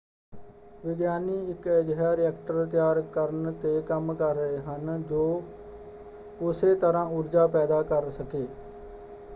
ਵਿਗਿਆਨੀ ਇੱਕ ਅਜਿਹਾ ਰਿਐਕਟਰ ਤਿਆਰ ਕਰਨ ‘ਤੇ ਕੰਮ ਕਰ ਰਹੇ ਹਨ ਜੋ ਉਸੇ ਤਰ੍ਹਾਂ ਊਰਜਾ ਪੈਦਾ ਕਰ ਸਕੇ।